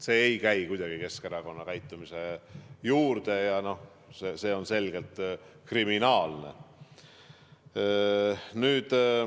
See ei käi kuidagi Keskerakonna käitumise juurde ja see on selgelt kriminaalne.